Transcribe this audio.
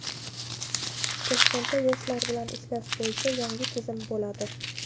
Toshkentda yoshlar bilan ishlash bo‘yicha yangi tizim bo‘ladi.